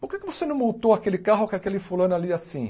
Por que que você não multou aquele carro com aquele fulano ali assim?